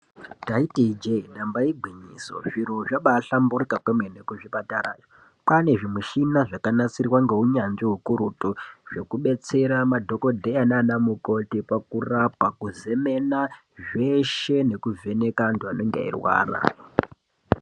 Ndaiti ijee ndamba igwinyiso, zviro zvabahlamburika kwemene kuzvipatara, kwaane zvimushina zvakanasirwa ngeunyanzvi ukurutu zvekubetsera madhokodheya naana mukoti pakurapa, kuzemena zveshe nekuvheneka antu anenge eirwara.